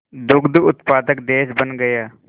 दुग्ध उत्पादक देश बन गया